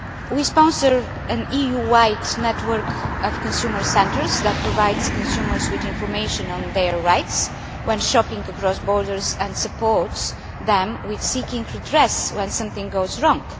We sponsor an EU wide network of consumer centres that provides consumers with information on their rights when shopping across borders and supports them with seeking redress when something goes wrong.